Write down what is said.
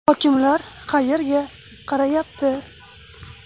Hokimlar qayerga qarayapti?